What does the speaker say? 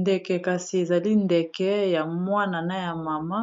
Ndeke kasi ezali ndeke ya mwana na ya mama